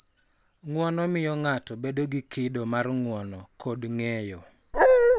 Ng�uono miyo ng�ato bedo gi kido mar ng�uono kod ng�eyo,